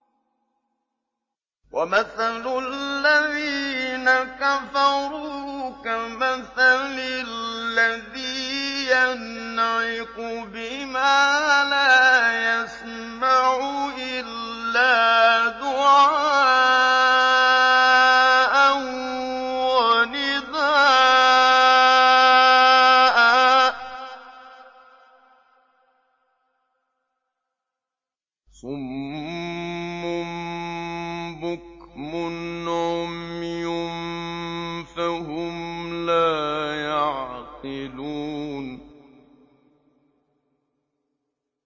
وَمَثَلُ الَّذِينَ كَفَرُوا كَمَثَلِ الَّذِي يَنْعِقُ بِمَا لَا يَسْمَعُ إِلَّا دُعَاءً وَنِدَاءً ۚ صُمٌّ بُكْمٌ عُمْيٌ فَهُمْ لَا يَعْقِلُونَ